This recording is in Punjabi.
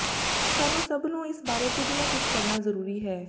ਸਾਨੁੰ ਸੱਭ ਨੂੰ ਇਸ ਬਾਰੇ ਕੁਝ ਨਾ ਕੁੱਝ ਕਰਨਾ ਜ਼ਰੂਰੀ ਹੈ